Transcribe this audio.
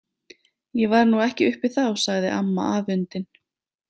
Ég var nú ekki uppi þá, sagði amma afundin.